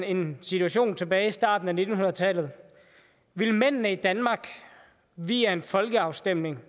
en situation tilbage i starten af nitten hundrede tallet ville mændene i danmark via en folkeafstemning